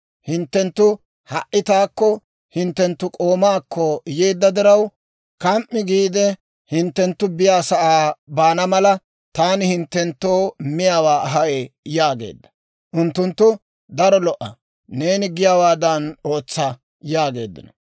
Hinttenttu ha"i taakko hinttenttu k'oomaakko yeedda diraw, kam"i giide hinttenttu biyaasa'aa baana mala, taani hinttenttoo miyaawaa ahay» yaageedda. Unttunttu, «Daro lo"a; neeni giyaawaadan ootsa» yaageeddino.